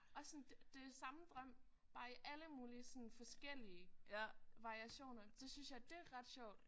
Og sådan det det samme drøm bare i alle mulige sådan forskellige variationer. Det synes jeg det er ret sjovt